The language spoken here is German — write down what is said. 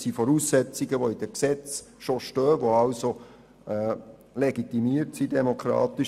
Es sind Voraussetzungen, die bereits in den Gesetzen stehen, die also demokratisch legitimiert sind.